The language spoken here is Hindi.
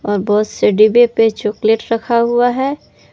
और बहुत से डिब्बे पे चॉकलेट रखा हुआ है।